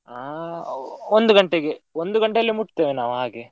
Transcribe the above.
ಆಹ್ ಒಂದು ಗಂಟೆಗೆ, ಒಂದು ಗಂಟೆಯಲ್ಲಿ ಮುಟ್ತೇವೆ ನಾವ್ ಹಾಗೆ.